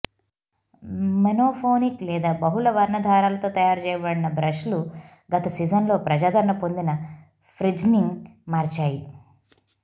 monophonic లేదా బహుళ వర్ణ దారాలతో తయారు చేయబడిన బ్రష్లు గత సీజన్లలో ప్రజాదరణ పొందిన ఫ్రింజ్ని మార్చాయి